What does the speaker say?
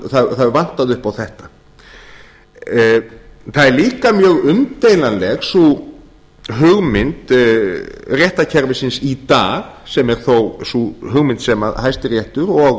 það hefur vantað upp á þetta það er líka mjög umdeilanleg sú hugmynd réttarkerfisins í dag sem er þó sú hugmynd sem hæstiréttur og